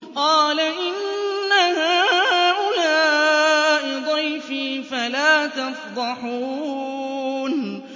قَالَ إِنَّ هَٰؤُلَاءِ ضَيْفِي فَلَا تَفْضَحُونِ